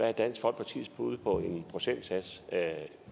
er dansk folkepartis bud på en procentsats